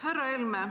Härra Helme!